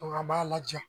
a b'a laja